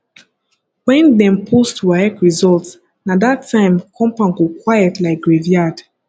when dem post waec result na that time compound go quiet like graveyard